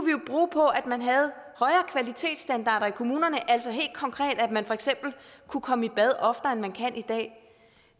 på at man havde højere kvalitetsstandarder i kommunerne altså helt konkret at man for eksempel kunne komme i bad oftere end man kan i dag